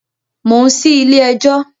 Mò ń sí Ilé ẹjọ́.